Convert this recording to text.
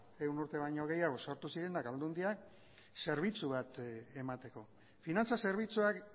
ehun urte baino gehiago sartu zirenak aldundiak zerbitzu bat emateko finantza zerbitzuak